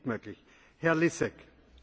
Dziękuję bardzo, Panie Przewodniczący!